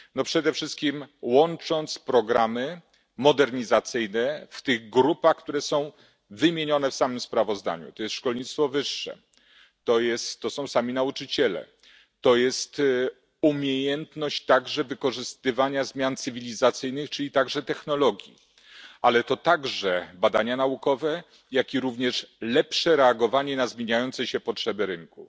No przede wszystkim łącząc programy modernizacyjne w tych grupach, które są wymienione w samym sprawozdaniu, to jest szkolnictwo wyższe, to są sami nauczyciele, to jest umiejętność także wykorzystywania zmian cywilizacyjnych, czyli także technologii, ale to także badania naukowe, jak i również lepsze reagowanie na zmieniające się potrzeby rynku.